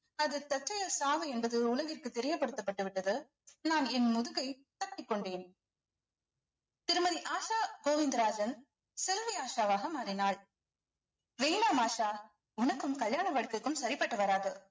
அது தற்செயல் சாவு என்பது உலகிற்கு தெரியப்படுத்தப்பட்டுவிட்டது நான் என் முதுகை தட்டிக் கொண்டேன் திருமதி ஆஷா கோவிந்தராஜன் செல்வி ஆஷாவாக மாறினாள் வேணாம் ஆஷா உனக்கும் கல்யாண வாழ்க்கைக்கும் சரிப்பட்டு வராது